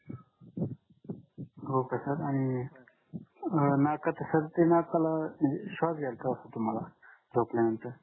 हो तसच आणि अं नाकात सर्दी नाकालाअं श्वास घ्यायला त्रास होतो मला झोपल्यानंतर